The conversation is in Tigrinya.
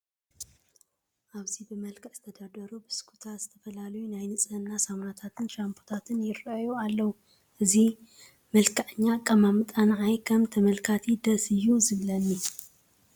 ኣብዚ ብመልክዕ ዝተደርደሩ ብሽኩትታትን ዝተፈላለዩ ናይ ንፅህና ሳሙናታትን ሻምፖታትን ይርአዩ ኣለዉ፡፡ እዚ መልክዐኛ ኣቀማምጣ ንዓይ ከም ተመልካቲ ደስ እዩ ዝብለኒ፡፡